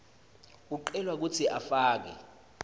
ucelwa kutsi ufake